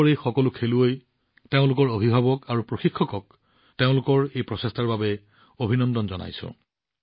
দেশৰ এই সকলো খেলুৱৈ তেওঁলোকৰ অভিভাৱক আৰু প্ৰশিক্ষকক তেওঁলোকৰ এই প্ৰচেষ্টাৰ বাবে অভিনন্দন জনাইছো